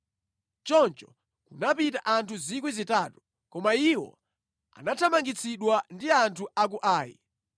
Choncho kunapita anthu 3,000. Koma iwo anathamangitsidwa ndi anthu a ku Ai.